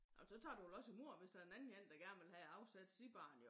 Ej men så tager du vel også i mod hvis der er en anden én der gerne vil have afsat sit barn jo